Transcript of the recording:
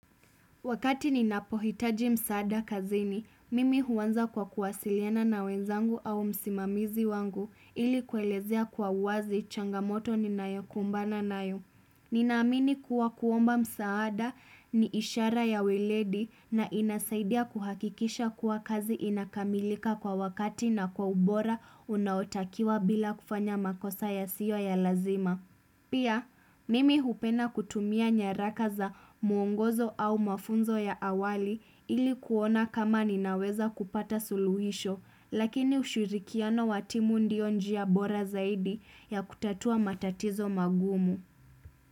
Wakati ninapohitaji msaada kazini, mimi huanza kwa kuwasiliana na wenzangu au msimamizi wangu ili kuelezea kwa uwazi changamoto ninayokumbana nayo. Ninamini kuwa kuomba msaada ni ishara ya weledi na inasaidia kuhakikisha kuwa kazi inakamilika kwa wakati na kwa ubora unaotakiwa bila kufanya makosa ya siyo ya lazima. Pia, mimi hupenda kutumia nyarakaza mwongozo au mafunzo ya awali ilikuona kama ninaweza kupata suluhisho, lakini ushirikiano watimu ndio njia bora zaidi ya kutatua matatizo magumu.